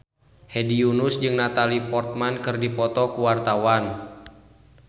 Hedi Yunus jeung Natalie Portman keur dipoto ku wartawan